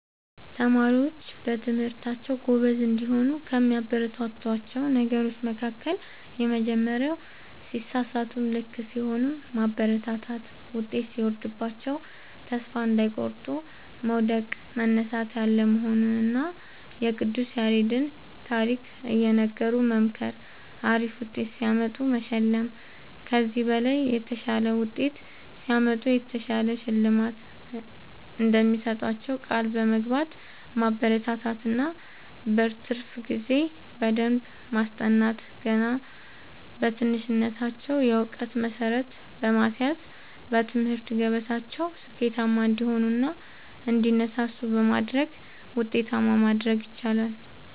ተማሪዎች በትምህርታቸዉ ጎበዝ እንዲሆኑ ከሚያበረታቷቸዉ ነገሮች መካከል:- የመጀመሪያዉ ሲሳሳቱም ልክ ሲሆኑም ማበረታታት ዉጤት ሲወርድባቸዉም ተስፋ እንዳይቆርጡ መዉደቅ መነሳት ያለ መሆኑንና የቅዱስ ያሬድን ታሪክ እየነገሩ መምከር አሪፍ ዉጤት ሲያመጡ መሸለም ከዚህ በላይ የተሻለ ዉጤት ሲያመጡ የተሻለ ሽልማት እንደሚሰጧቸዉ ቃል በመግባት ማበረታታት እና በትርፍ ጊዜ በደንብ በማስጠናት ገና በትንሽነታቸዉ የእዉቀት መሠረት በማስያዝ በትምህርት ገበታቸዉ ስኬታማ እንዲሆኑ እና እንዲነሳሱ በማድረግ ዉጤታማ ማድረግ ይቻላል።